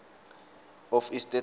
of estates act